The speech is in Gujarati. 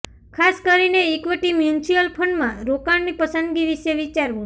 ખાસ કરીને ઇક્વિટી મ્યુચ્યુઅલ ફંડમાં રોકાણની પસંદગી વિશે વિચારવું